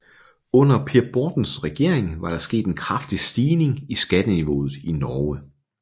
Under Per Bortens regering var der sket en kraftig stigning i skatteniveauet i Norge